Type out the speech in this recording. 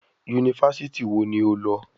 Yunifásítì wo ni o lọ?